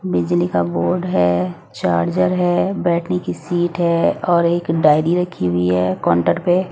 बिजली का बोर्ड है चार्जर है बैठने की सीट है और एक डायरी रखी हुई है काउंटर पे।